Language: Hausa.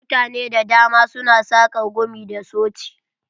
Mutane da dama su na saƙar gumi da soci.